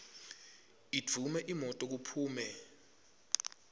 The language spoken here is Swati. idvume imoto kuphume